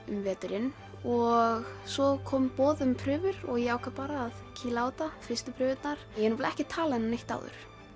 um veturinn og svo kom boð um prufur og ég ákvað bara að kýla á þetta fyrstu prufurnar ég hef nefnilega ekki talað inn á neitt áður